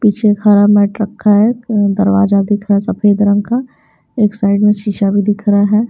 पीछे मैट रखा है दरवाजा दिख रहा है सफेद रंग का एक साइड में शीशा भी दिख रहा है।